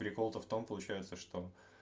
прикол то в том получается что